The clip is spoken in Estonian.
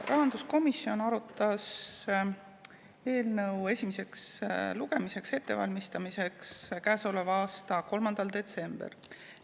Rahanduskomisjon arutas eelnõu, selle esimest lugemist ette valmistades, käesoleva aasta 3. detsembril.